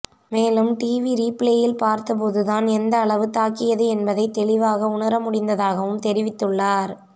மேலும் டிவி ரீபிளேயில் பார்த்த போது தான் எந்தளவு தாக்கியது என்பதை தெளிவாக உணர முடிந்ததாகவும் தெரிவித்துள்ளார்